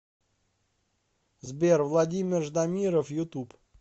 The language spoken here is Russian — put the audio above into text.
сбер владимир ждамиров ютуб